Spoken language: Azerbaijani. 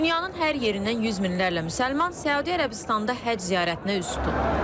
Dünyanın hər yerindən yüz minlərlə müsəlman Səudiyyə Ərəbistanında həcc ziyarətinə üz tutub.